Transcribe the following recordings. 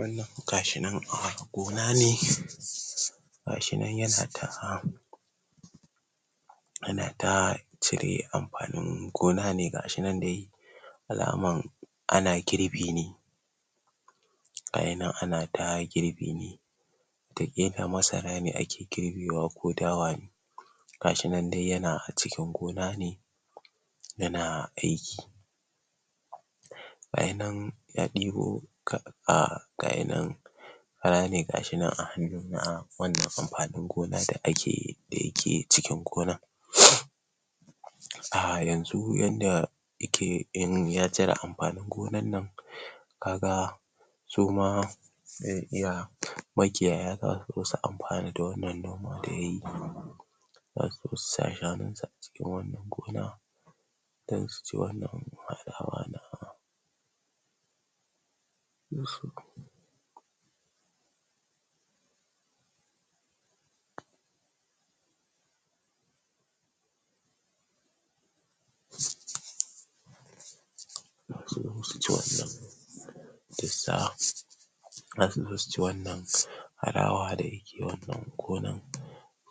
wannan gashi nan a gonane gashi nan ya na ta ana ta cire anfanin gona ne gashi nan dai alaman ana girbi ne ai nan ana ta girbi ne masara ake girbewa ko dawa ne gashinan dai yana cikin gona ne yana aiki gashinan ya debo gashinan a gashi nan kara ne gashi nan a hanuna wanda anfanin gona da ake da yake cikin gonan a yanzu yanda yake in ya cire anfanin gonan nan ka ga suma zai iya makiyaya za su zo su anfana da wannan noma da yayi zasu zo su sa shanun su a cikin wan nan gona dan su ci wan nan harawa na din su um ina so su ji wan nan dusa zasu zo su ki wannan harawan da yake wan nan gonan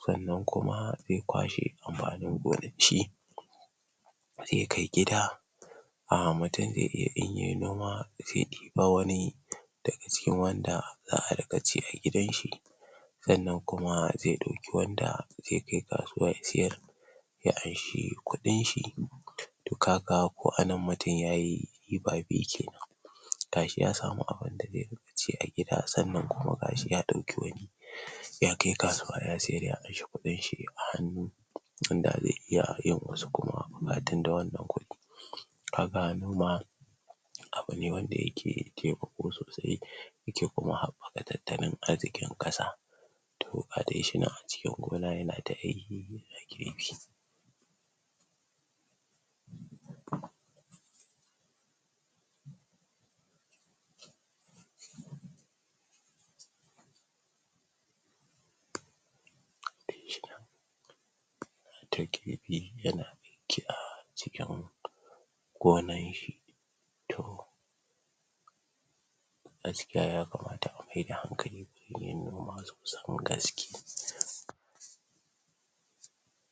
san nan kuma zai kwashe anfanin gonaki zai kai gida mutun zai iya in yayi noma zai iba anfanin ba wani daga cikin wanda za a rinka ci a gidan shi san nan kuma zai dauki wanda zai kai kasuwa ya sayar ya anshi kudin shi to ka ga ko anan mutun yayi riba biyu kenan gashi ya samu abun da zai rika ci a gida san kuma gashi ya dauki wani ya kai kasuwa ya sayar ya amshi kudin shi a hanu tunda zai iya yin wasu kuma bukatun da wan nan kudi kaga noma abu ne wanda yake taimako sosai yake kuma habbaka tattalin arzikin kasa to gadai shinan a cikin gona yana ta aikin yana girbi ya na bi yana aiki a cikin go nan shi to gaskiya ya kamata a maida hankali gun yin noma sosan gaske.